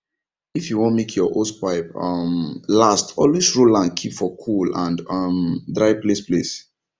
if you wan make your hosepipe um last always roll am keep for cool and um dry place place